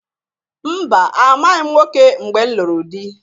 Mba! Amaghị m nwoke mgbe m lụrụ dị.